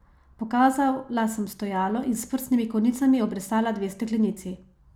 Pokazala sem stojalo in s prstnimi konicami obrisala dve steklenici.